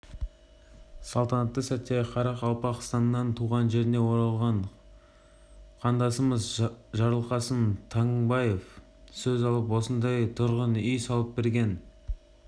салтанатты сәтте қарақалпақстаннан туған жеріне орылған қандасымыз жарылқасын таңбаев сөз алып осындай тұрғын үй салып берген